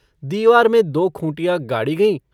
दीवार में दो खूँटिया गाड़ी गयीं।